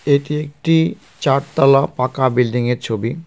এটি একটি চারতালা পাকা বিল্ডিংয়ের ছবি .